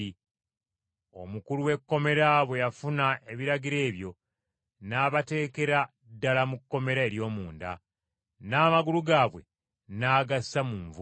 Omukulu w’ekkomera bwe yafuna ebiragiro ebyo, n’abateekera ddala mu kkomera ery’omunda, n’amagulu gaabwe n’agassa mu nvuba.